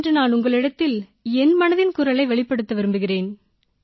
இன்று நான் உங்களிடத்தில் என் மனதின் குரலை வெளிப்படுத்த விரும்புகிறேன்